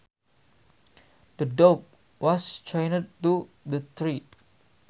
The dog was chained to the tree